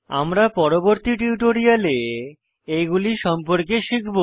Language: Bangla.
আমরা পরবর্তী টিউটোরিয়ালে এইগুলি সম্পর্কে শিখব